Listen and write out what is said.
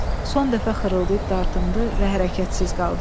Ürgə son dəfə xırıldayıb dartındı və hərəkətsiz qaldı.